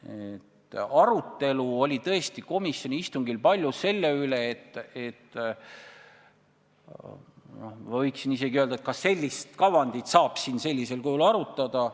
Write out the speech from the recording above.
Komisjoni istungil oli tõesti palju arutelu selle üle, et – no ma võiksin isegi öelda – kas sellist kavandit saab siin sellisel kujul arutada.